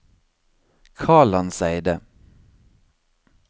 Kalandseidet